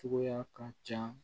Cogoya ka ca